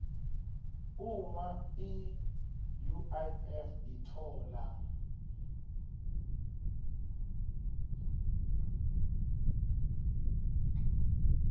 uma iuif itfola